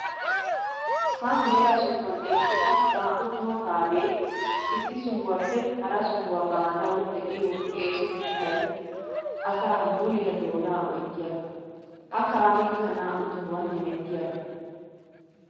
Ha mela sobuwan eqqidda naa'u toho kaame issi sohuwappe hara sohuwa baanawu de'iya eesotettay asaa muliya doona oyttiyaaga. Ha kaamekka naa'u tohuwan hemettiyaaga.